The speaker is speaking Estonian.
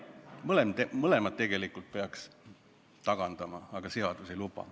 Mõlemad tegelikult peaks tagandama, aga seadus ei luba.